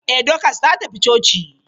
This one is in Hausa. Ee, Dokas ta tafi coci.